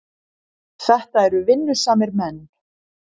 Þetta eru vinnusamir menn.